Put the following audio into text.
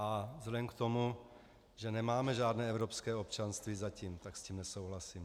A vzhledem k tomu, že nemáme žádné evropské občanství zatím, tak s tím nesouhlasím.